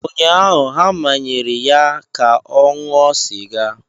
Ụnyaahụ, ha manyere ya ka ọ ṅụọ sịga.